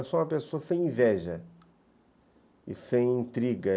Eu sou uma pessoa sem inveja e sem intriga.